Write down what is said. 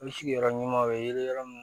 I bɛ sigiyɔrɔ ɲuman o ye yɔrɔ min